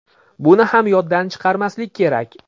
Buni ham yoddan chiqarmaslik kerak.